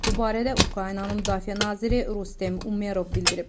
Bu barədə Ukraynanın müdafiə naziri Rustem Umerov bildirib.